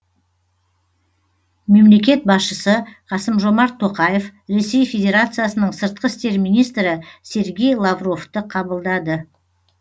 мемлекет басшысы қасым жомарт тоқаев ресей федерациясының сыртқы істер министрі сергей лавровты қабылдады